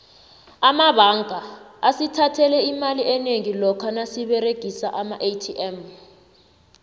amabanga asithathele imali enengi lokha nasiberegisa amaatm